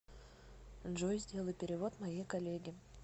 джой сделай перевод моей коллеге